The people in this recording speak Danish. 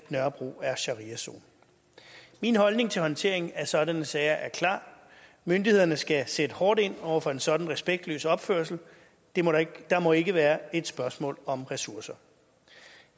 at nørrebro er shariazone min holdning til håndtering af sådanne sager er klar myndighederne skal sætte hårdt ind over for en sådan respektløs opførsel det må ikke må ikke være et spørgsmål om ressourcer